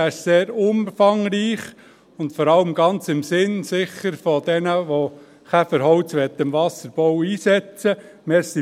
Er ist sehr umfangreich und vor allem bestimmt ganz im Sinne derjenigen, die Käferholz im Wasserbau einsetzen möchten.